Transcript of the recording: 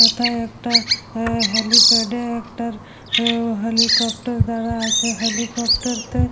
ওথায় একটা হেলিপেড -এ একটা হেলিকপ্টার দাঁড়ায় আছে। হেলিকপ্টার -তে--